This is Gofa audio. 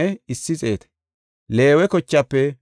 Leewe kochaafe 4,600.